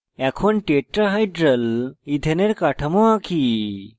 এখন tetrahedral ইথেনের কাঠামো আঁকি